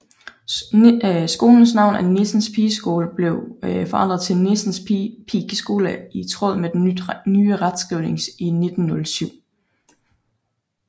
Skolens navn Nissens Pigeskole blev forandret til Nissens Pikeskole i tråd med den nye retskrivning i 1907